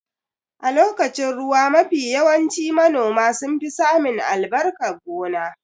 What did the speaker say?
A lokacin ruwa mafi yawanci manoma sun fi samin albarkan gona